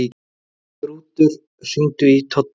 Þrútur, hringdu í Toddu.